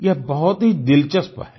यह बहुत ही दिलचस्प है